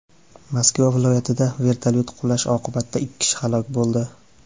Moskva viloyatida vertolyot qulashi oqibatida ikki kishi halok bo‘ldi.